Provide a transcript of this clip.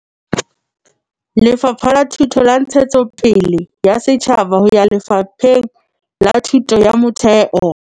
Lefapheng la Ntshetsopele ya Setjhaba ho ya Lefapheng la Thuto ya Motheo.